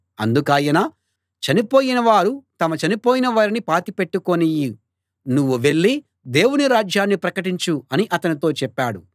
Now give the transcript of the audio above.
అందుకాయన చనిపోయినవారు తమ చనిపోయిన వారిని పాతి పెట్టుకోనియ్యి నువ్వు వెళ్ళి దేవుని రాజ్యాన్ని ప్రకటించు అని అతనితో చెప్పాడు